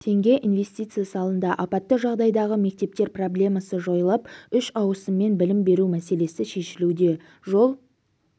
теңге инвестиция салынды апатты жағдайдағы мектептер проблемасы жойылып үш ауысыммен білім беру мәселесі шешілуде жол